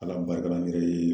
Ala barika la ne yɛrɛ ye